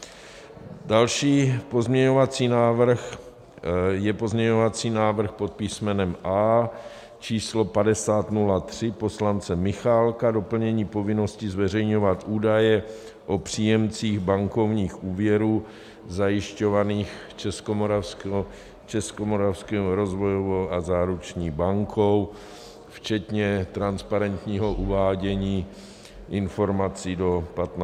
Další pozměňovací návrh je pozměňovací návrh pod písmenem A číslo 5003 poslance Michálka - doplnění povinnosti zveřejňovat údaje o příjemcích bankovních úvěrů zajišťovaných Českomoravskou rozvojovou a záruční bankou včetně transparentního uvádění informací do 15 dnů.